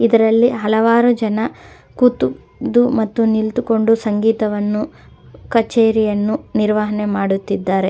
ಇದರಲ್ಲಿ ಹಲವಾರು ಜನ ಕುತುದು ಮತ್ತು ನಿಂತುಕೊಂಡು ಸಂಗೀತವನ್ನು ಕಚೇರಿಯನ್ನು ನಿರ್ವಹಣೆ ಮಾಡುತಿದ್ದರೆ.